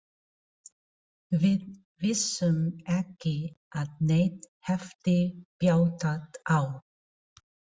Við vissum ekki að neitt hefði bjátað á.